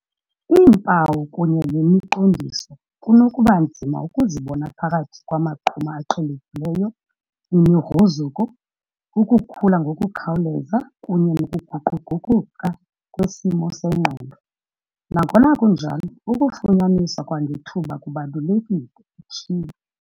"Iimpawu kunye nemi qondiso kunokuba nzima ukuzibona phakathi kwamaqhuma aqhelekileyo, imigruzuko, ukukhula ngokukhawuleza kunye nokuguquguquka kwesimo sengqondo. Nangona kunjalo, ukufunyaniswa kwangethuba kubalulekile," utshilo.